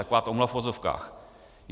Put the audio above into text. Taková omluva v uvozovkách.